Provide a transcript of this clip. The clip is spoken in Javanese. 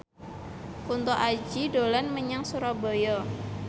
Kunto Aji dolan menyang Surabaya